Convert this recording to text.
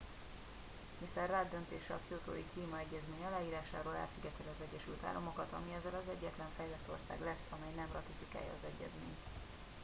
mr rudd döntése a kyotói klímaegyezmény aláírásáról elszigeteli az egyesült államokat ami ezzel az egyetlen fejlett ország lesz amely nem ratifikálja az egyezményt